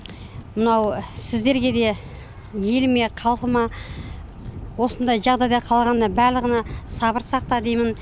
мынау сіздерге де еліме халқыма осындай жағдай қалғанына барлығына сабыр сақта деймін